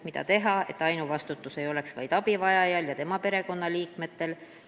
Mida teha, et ainuvastutus ei oleks vaid abivajajal ja tema perekonnaliikmetel?